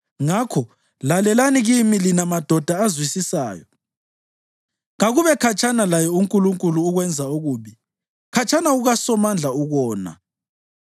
Ngakho lalelani kimi lina madoda azwisisayo. Kakube khatshana laye uNkulunkulu ukwenza ububi, khatshana kukaSomandla ukona.